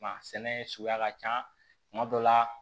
Kuma sɛnɛ suguya ka ca kuma dɔ la